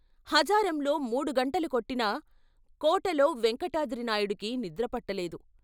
హజారంలో మూడు గంటలు కొట్టినా కోటలో వేంకటాద్రి నాయుడుకి నిద్రపట్టలేదు.